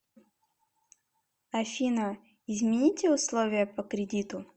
афина измените условия по кредиту